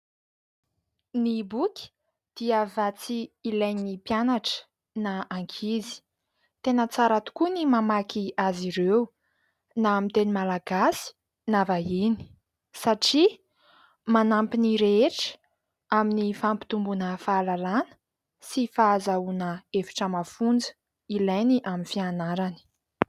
Ny boky dia vatsy ilain'ny mpianatra na ankizy tena tsara tokoa ny mamaky azy ireo na amin'ny teny malagasy na vahiny satria manampy ny rehetra aminy fampitomboana fahalalana sy fahazoana hevitra mafonja ilainy amin'ny fianarany.